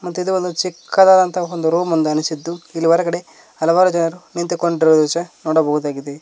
ಮತ್ತಿದು ಒಂದು ಚಿಕ್ಕದಾದಂತ ಒಂದು ರೂಮ್ ಒಂದು ಅನಿಸಿದ್ದು ಇಲ್ಲಿ ಹೊರಗಡೆ ಹಲವಾರು ಜನರು ನಿಂತುಕೊಂಡಿರುವ ದೃಶ್ಯ ನೋಡಬಹುದಾಗಿದೆ.